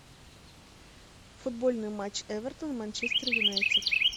футбольный матч эвертон манчестер юнайтед